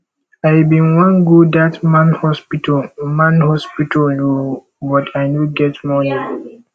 i bin wan go that man hospital man hospital oo but i no get money